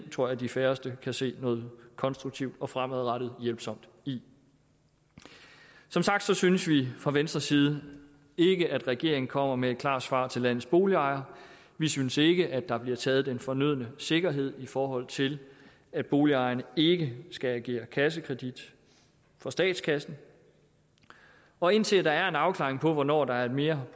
tror jeg de færreste kan se noget konstruktivt og fremadrettet hjælpsomt i som sagt synes vi fra venstres side ikke at regeringen kommer med et klart svar til landets boligejere vi synes ikke at der bliver taget den fornødne sikkerhed i forhold til at boligejerne ikke skal agere kassekredit for statskassen og indtil der er en afklaring på hvornår der er mere